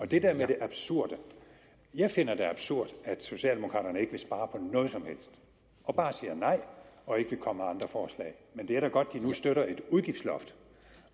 det der med det absurde jeg finder det absurd at socialdemokraterne ikke vil spare på noget som helst og bare siger nej og ikke vil komme med andre forslag men det er da godt at de nu støtter et udgiftsloft